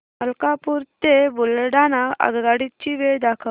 मलकापूर ते बुलढाणा आगगाडी ची वेळ दाखव